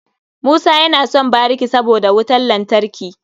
Musa yana son bariki saboda wutan lantarki.